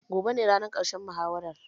Gobe ne ranar ƙarshen muhawarar